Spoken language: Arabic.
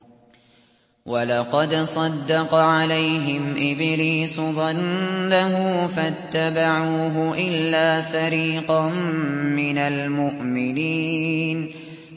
وَلَقَدْ صَدَّقَ عَلَيْهِمْ إِبْلِيسُ ظَنَّهُ فَاتَّبَعُوهُ إِلَّا فَرِيقًا مِّنَ الْمُؤْمِنِينَ